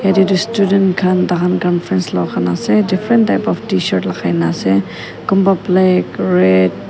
jatte student khan tar khan conference law khan ase different type of tshirt kunba black red --